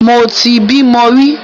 Mo ti bímo rí.